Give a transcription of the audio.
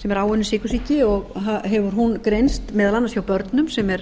sem er áunninn sykursýki og hefur hún greinst meðal annars hjá börnum sem er